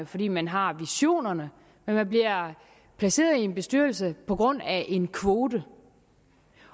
fordi man har visionerne men man bliver placeret i en bestyrelse på grund af en kvote